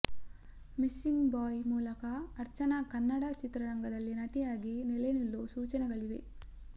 missing boy ಮೂಲಕ ಅರ್ಚನಾ ಕನ್ನಡ ಚಿತ್ರರಂಗದಲ್ಲಿ ನಟಿಯಾಗಿ ನೆಲೆ ನಿಲ್ಲೋ ಸೂಚನೆಗಳಿವೆ